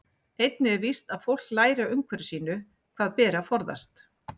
Einnig er víst að fólk lærir af umhverfi sínu hvað beri að forðast.